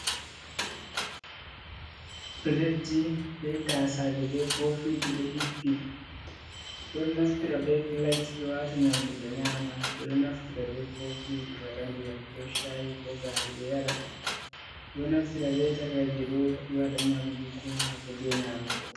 Piletji bei taasaje bei kofiji ɗo hippi ɓeɗo naftira be pilet ɓe wata nyamdu ɓe nyama. Ɓe ɗo naftira bei kofi be waɗa ndiyam ko shayi ko gaari ɓe yara, ɗo naftira bei takaije ɗo ɓe waɗa nyamdu ko haako jei nyamugo.